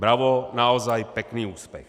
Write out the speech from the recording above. Bravo, naozaj, pekný úspech!